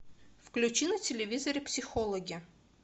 включи на телевизоре психологи